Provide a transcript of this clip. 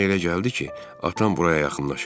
Mənə elə gəldi ki, atam buraya yaxınlaşır.